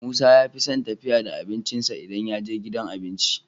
musa yafison tafiya da abincin sa idan yaje gidan abinci